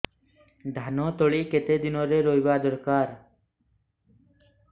ଧାନ ତଳି କେତେ ଦିନରେ ରୋଈବା ଦରକାର